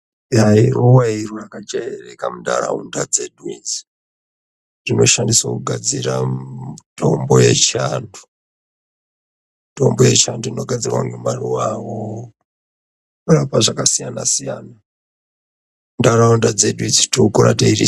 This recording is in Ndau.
Iruuwa iro munharaunda dzedu idzi, rinoshandiswa kugadzira mitombo yechianhu mitombo yechiantu inogadzirwa ngemaruw awo....,inorapa zvakasiyana siyana , munharaunda dzedu .